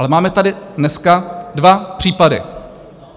Ale máme tady dneska dva případy.